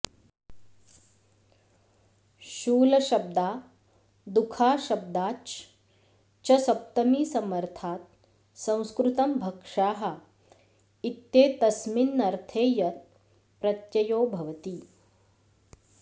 शूलशब्दादुखाशब्दाच् च सप्तमीसमर्थात् संस्कृतं भक्षाः इत्येतस्मिन्नर्थे यत् प्रत्ययो भवति